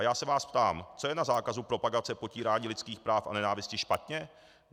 A já se vás ptám - co je na zákazu propagace potírání lidských práv a nenávisti špatně?